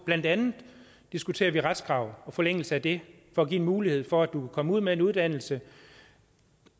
blandt andet diskuterer vi retskravet og forlængelse af det for at give en mulighed for at du kan komme ud med en uddannelse